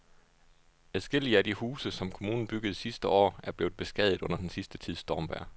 Adskillige af de huse, som kommunen byggede sidste år, er blevet beskadiget under den sidste tids stormvejr.